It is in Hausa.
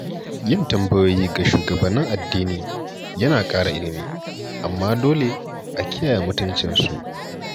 Yin tambayoyi ga shugabannin addini yana ƙara ilimi, amma dole a kiyaye mutuncinsu.